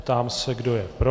Ptám se, kdo je pro.